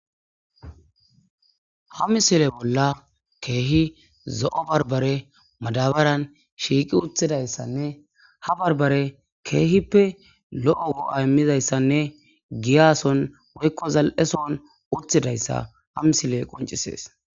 ha misile bolla keehi zo7o barbare madabaran shiiqi uthidayssanne ha barbare keehippe lo7o go7a immizayssanne giyason woykko zal7eson uthidayssa ha misile qoncisees